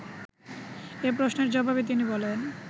এ প্রশ্নের জবাবে তিনি বলেন